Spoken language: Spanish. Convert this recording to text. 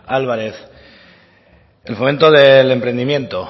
álvarez el fomento del emprendimiento